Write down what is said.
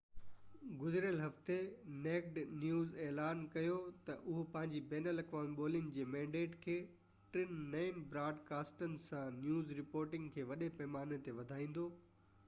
گذريل هفتي naked news اعلان ڪيو تہ اهو پنهنجي بين الاقوامي ٻولي جي مينڊيٽ کي ٽن نئين براد ڪاسٽن سان نيوز رپورٽنگ کي وڏي پئماني تي وڌائيندو